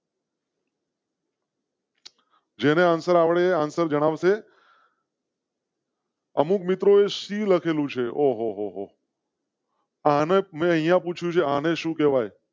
જેન answer આવડે answer જણાવ શે. અમુક મિત્રો સી લખેલું છે. ઓહોહો. આના મૈ અહીંયા પૂ છે. આને સુ કેવાય